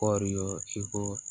Kɔɔri ko